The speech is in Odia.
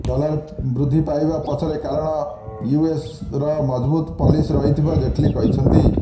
ଡଲାର ବୃଦ୍ଧି ପାଇବା ପଛର କାରଣ ୟୁଏସର ମଜଭୁତ ପଲିସି ରହିଥିବା ଜେଟଲୀ କହିଛନ୍ତି